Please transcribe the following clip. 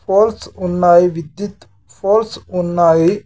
Poles ఉన్నాయి విద్యుత్ poles ఉన్నాయి.